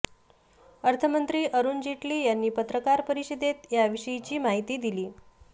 अर्थमंत्री अरुण जेटली यांनी पत्रकार परिषदेत याविषयीची माहिती दिली